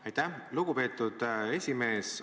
Aitäh, lugupeetud esimees!